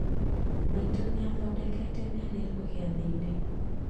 Maitũ nĩ athondekete miariro giathĩ-inĩ